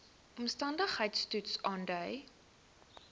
omstandigheids toets aandui